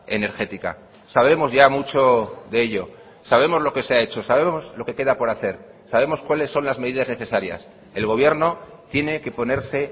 energética sabemos ya mucho de ello sabemos lo que se ha hecho sabemos lo que queda por hacer sabemos cuáles son las medidas necesarias el gobierno tiene que ponerse